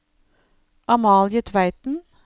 Amalie Tveiten